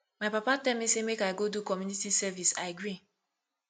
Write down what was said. my papa tell me say make i go do community service i agree